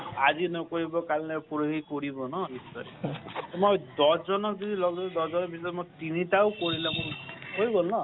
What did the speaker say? আজি নকৰিব কাল নকৰিব পৰহি কৰিব ন নিশ্চয়। মই দহজনক যদি লগ ধৰি মই তিনিটা হয় গল ন